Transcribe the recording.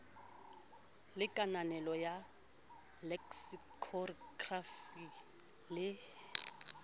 le kananelo ya leksikhokrafi le